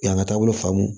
U y'an ka taabolo faamu